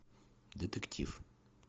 детектив